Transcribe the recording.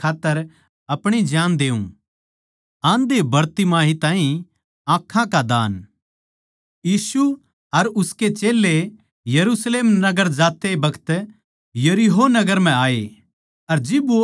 क्यूँके मै माणस का बेट्टा ज्यांतै कोनी आया के आपणी सेवापाणी करवाऊँ पर ज्यांतै आया के खुद सेवापाणी करूँ अर घणखरयां के छुटकारै कै खात्तर आपणी जान देऊँ